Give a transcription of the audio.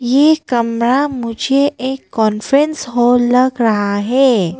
यह कमरा मुझे एक कांफ्रेंस हॉल लग रहा है।